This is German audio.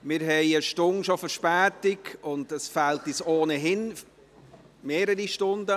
Wir haben schon eine Stunde Verspätung, und es fehlen uns ohnehin mehrere Stunden.